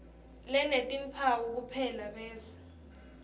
lenetimphawu kuphela bese